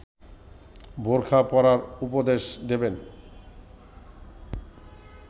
বোরখা পরার উপদেশ দেবেন